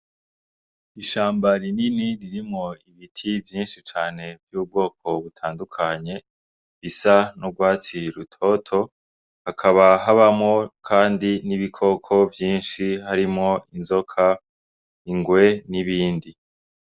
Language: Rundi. Ishamba rinini ririmwo ibiti vyinshi cane vy'ubwoko butandukanye, risa n'urwatsi rutoto. Hakaba habamwo kandi n'ibikoko vyinshi harimwo inzoka, ingwe n'ibindi.